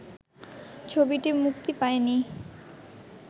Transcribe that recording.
ছবিটি মুক্তি পায়নি